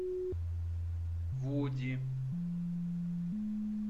вуди